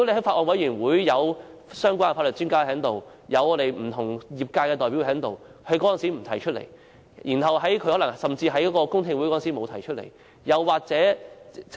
法案委員會有相關的法律專家，也有不同業界的代表，為何他當時不提出其意見，甚至在公聽會上也沒有提出？